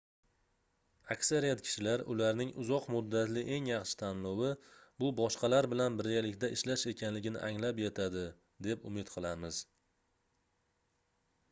aksariyat kishilar ularning uzoq muddatli eng yaxshi tanlovi bu boshqalar bilan birgalikda ishlash ekanligini anglab yetadi deb umid qilamiz